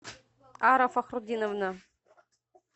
ара фахрутдиновна